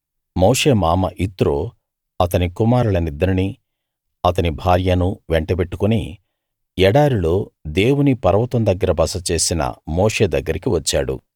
మోషే మామ యిత్రో అతని కుమారులనిద్దరినీ అతని భార్యనూ వెంటబెట్టుకుని ఎడారిలో దేవుని పర్వతం దగ్గర బస చేసిన మోషే దగ్గరికి వచ్చాడు